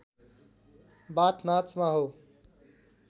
बाथ नाचमा हो